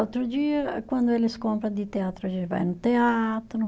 Outro dia, quando eles compram de teatro, a gente vai no teatro.